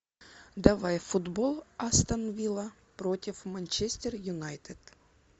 давай футбол астон вилла против манчестер юнайтед